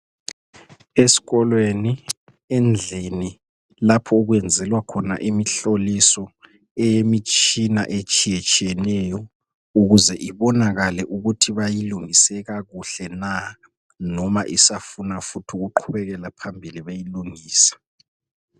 Eskolweni endlini lapho okwenzelwa khona imihloliso eyemitshina etshiyetshiyeneyo ukuze ibonakale ukuthi bayilungise kakuhle na noma isafuna futhi ukuqhubekela phambili beyilungisa